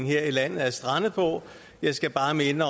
her i landet er strandet på jeg skal bare minde